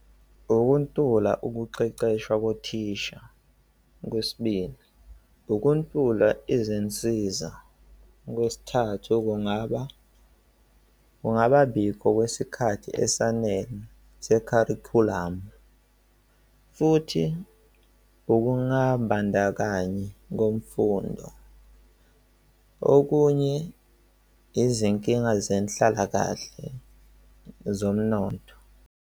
Ukuntula ukuqeqeshwa kothisha. Okwesibili, ukuntula izinsiza. Okwesithathu, kungaba kungababikho kwesikhathi esanele se-curriculum. Futhi ukungabandakanyi kwemfundo. Okunye izinkinga zenhlalakahle zomnotho.